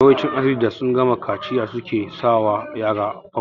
Yawancin asibitoci da sun gama kaciya suke sa wa yara famfas